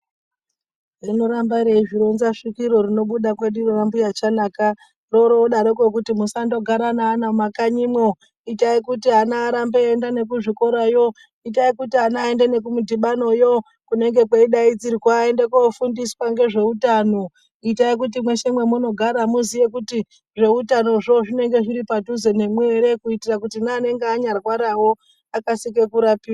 Rinoramba reizvironza svikiro rinobuda kweduyo kwambuya chanaka roroodaroko kuti musandogara neana mumakanyimwo itai kuti ana arambe eienda kuzvikorayo itai kuti ana aende nekumudhibanoyo kunenge kuchidaidzirwa aendekofundiswa ngezveutano itai kuti mweshe mwamunogara muziye kuti zveutanozvo zvinenge zviri padhuze nemwi ere kuitire kuti neanenge anyarwarawo akasire kurapiwa.